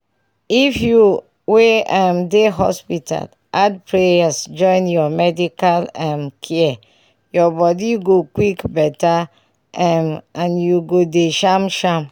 if u wey um dey hospital add prayers join ur medical um care ur body go quick better um and u go dey sham sham